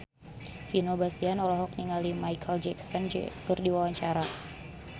Vino Bastian olohok ningali Micheal Jackson keur diwawancara